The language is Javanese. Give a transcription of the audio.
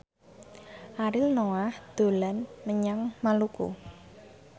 Ariel Noah dolan menyang Maluku